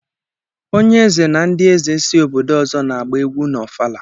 Onye eze na ndị eze si obodo ọzọ n'agba egwu n'ọfala.